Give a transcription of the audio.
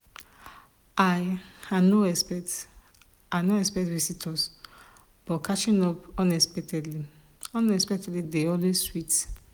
i no expect visitors but catching up unexpectedly unexpectedly dey always sweet.